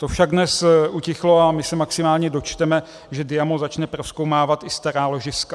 To však dnes utichlo a my se maximálně dočteme, že Diamo začne prozkoumávat i stará ložiska.